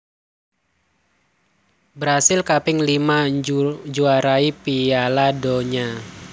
Brasil kaping lima njuaarani Piala Donya